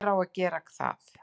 hver á þá að gera það?